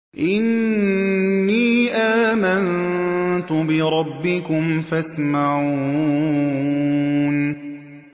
إِنِّي آمَنتُ بِرَبِّكُمْ فَاسْمَعُونِ